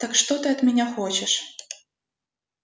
так что ты от меня хочешь